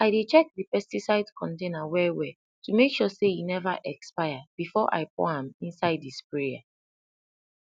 i dey check the pesticide container wellwell to make sure say e never expire before i pour am inside the sprayer